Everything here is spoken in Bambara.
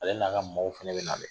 Ale n'a ka maaw fɛnɛ be nalen.